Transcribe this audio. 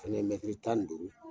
Fɛnɛ ye tan ni duuru.